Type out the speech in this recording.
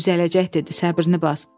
“Düzələcək,” dedi, “səbrini bas.